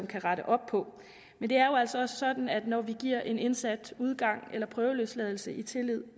kan rette op på men det er jo altså også sådan at når vi giver en indsat udgang eller prøveløsladelse i tillid